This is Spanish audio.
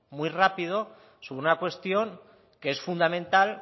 muy rápido sobre una cuestión que es fundamental